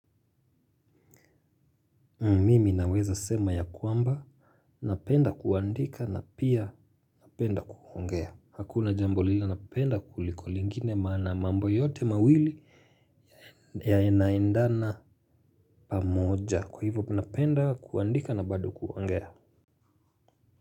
Mimi naweza sema ya kwamba, napenda kuandika na pia napenda kuongea. Hakuna jambo lile napenda kuliko lingine maana mambo yote mawili yanaendana pamoja. Kwa hivyo napenda kuandika na bado kuongea.